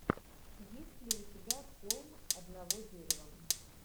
есть ли у тебя холм одного дерева